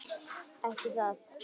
Ekki það.?